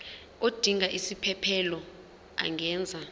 odinga isiphesphelo angenza